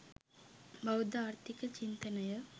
බෞද්ධ ආර්ථික චින්තනය